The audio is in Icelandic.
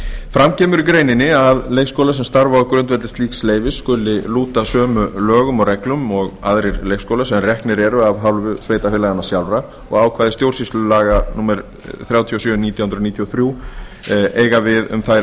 fram kemur í greininni að leikskólar sem starfa á grundvelli slíks leyfis skuli lúta sömu lögum og reglum og aðrir leikskólar sem reknir eru af hálfu sveitarfélaganna sjálfra og að ákvæði stjórnsýslulaga númer þrjátíu og sjö nítján hundruð níutíu og þrjú eiga við um þær